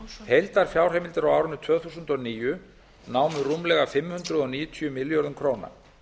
heildarfjárheimildir á árinu tvö þúsund og níu námu rúmlega fimm hundruð níutíu milljörðum króna